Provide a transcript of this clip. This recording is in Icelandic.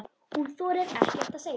Hún þorir ekkert að segja.